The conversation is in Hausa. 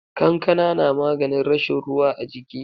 Kankana na maganin rashin ruwa a jiki.